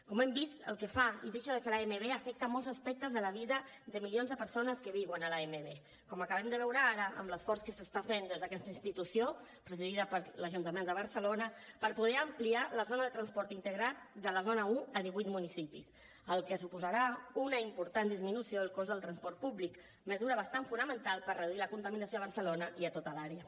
com hem vist el que fa i deixa de fer l’amb afecta molts aspectes de la vida de milions de persones que viuen a l’amb com acabem de veure ara amb l’esforç que s’està fent des d’aquesta institució presidida per l’ajuntament de barcelona per poder ampliar la zona de transport integrat de la zona un a divuit municipis cosa que suposarà una important disminució del cost del transport públic mesura bastant fonamental per reduir la contaminació a barcelona i a tota l’àrea